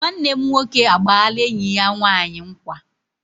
Nwanne m nwoke agbaala enyi ya nwanyi nkwa